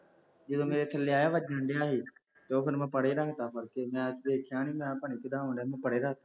ਜਦੋਂ ਮੇਰੇ ਥੱਲੇ ਆਇਆ ਵੱਜਣ ਡਿਆ ਸੀ, ਅਤੇ ਉਹ ਫੇਰ ਮੈਂ ਪਰ੍ਹੇ ਰੱਖ ਤਾ, ਮੁੜਕੇ ਮੈਂ ਦੇਖਿਆ ਨਹੀਂ ਮੈਂ ਕਿਹਾ ਪਤਾ ਨਹੀਂ ਕਿਹਦਾ ਆਉਣ ਡਿਆ, ਮੈਂ ਪਰੇ ਰੱਖਤਾ